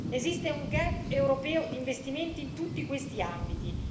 Esiste un gap europeo di investimenti in tutti questi ambiti.